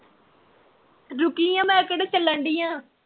ਰੁਕੀ ਆ ਮੈ ਕਿਹੜਾ ਚੱਲਣ ਡੀਆ?